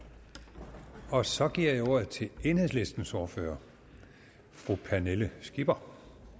og så giver jeg ordet til enhedslistens ordfører fru pernille skipper